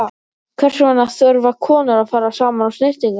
Hvers vegna þurfa konur að fara saman á snyrtinguna?